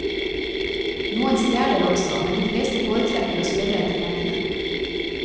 Noen stjeler også, men de fleste foretrekker å spørre etter pengene.